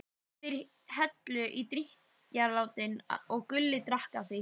Þeir helltu í þetta drykkjarílát og Gulli drakk af því.